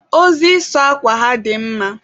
Ozi ịsụ akwa ha dị mma.